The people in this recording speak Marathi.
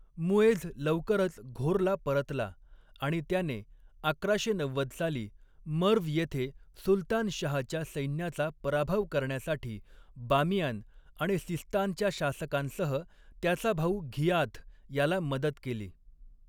मुएझ लवकरच घोरला परतला आणि त्याने, अकराशे नव्वद साली मर्व्ह येथे सुलतान शाहच्या सैन्याचा पराभव करण्यासाठी बामियान आणि सिस्तानच्या शासकांसह, त्याचा भाऊ घियाथ याला मदत केली.